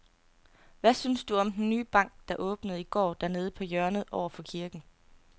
Hvad synes du om den nye bank, der åbnede i går dernede på hjørnet over for kirken?